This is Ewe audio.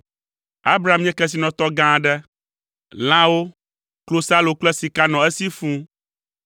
Abram nye kesinɔtɔ gã aɖe: lãwo, klosalo kple sika nɔ esi fũu.